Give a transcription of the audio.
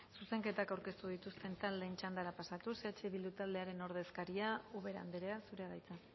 zuzenketak aurkeztu dituzten taldeen txandara pasatuz eh bildu taldearen ordezkaria ubera andrea zurea da hitza